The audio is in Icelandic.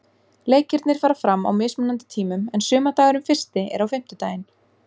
Leikirnir fara fram á mismunandi tímum en sumardagurinn fyrsti er á fimmtudaginn.